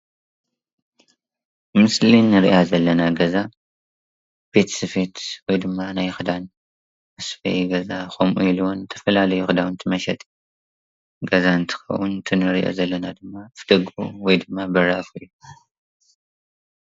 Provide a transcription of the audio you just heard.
ምስሊ ንርኣ ዘለና ገዛ ቤት ስፍየት ወይ ድማ ናይ ክዳን መስፍያ ገዛ ከምኡ ዝተፍላለዩ ክዳውንት መሽጥ ገዛ እንትከውን እቲ ንርኦ ዘለና ድማ ደጉኡ ወይ ድማ በሪ ይበሃል።